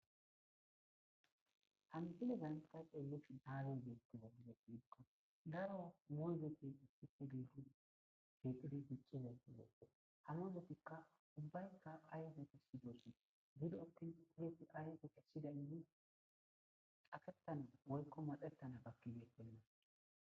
Han,ide ganxa qeeluf daaloy geettiga gizepidiqqa daro moyzoti issife gedu keequdi piccizaytigeokko hamozotikka ubbaykka aydeti sidoossi gudotin puzeti aayeu qeshshida indi afettana woykko madettana bakkibe pelina,